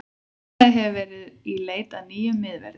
Félagið hefur því verið í í leit að nýjum miðverði.